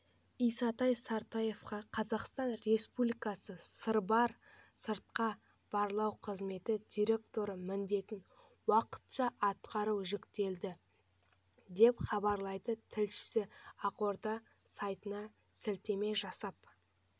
исатай сартаевқа қазақстан республикасы сырбар сыртқы барлау қызметі директоры міндетін уақытша атқару жүктелді деп хабарлайды тілшісі ақорда сайтына сілтеме жасап